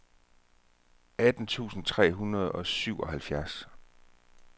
atten tusind tre hundrede og syvoghalvfjerds